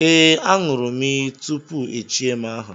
Ee, a ṅụrụ m iyi tupu echie m aha